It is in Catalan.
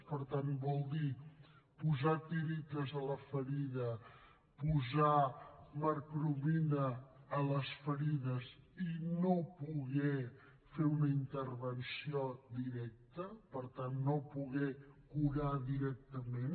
per tant vol dir posar tiretes a la ferida posar mercromina a les ferides i no poder fer una intervenció directa per tant no poder curar directament